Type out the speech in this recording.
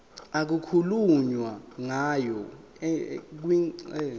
okukhulunywe ngayo kwingxenye